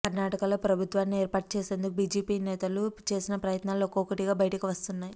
కర్ణాటకలో ప్రభుత్వాన్ని ఏర్పాటు చేసేందుకు బీజేపీ నేతలు చేసిన ప్రయత్నాలు ఒక్కొక్కటిగా బయటకు వస్తున్నాయి